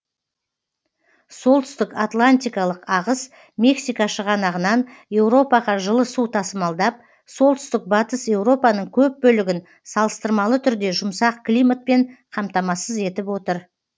солтүстік атлантикалық ағыс мексика шығанағынан еуропаға жылы су тасымалдап солтүстік батыс еуропаның көп бөлігін салыстырмалы түрде жұмсақ климатпен қамтамасыз етіп отыр